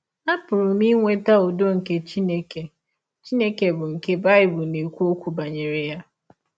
Apụrụ m inweta ụdọ nke Chineke Chineke bụ́ nke Bible na - ekwụ ọkwụ banyere ya.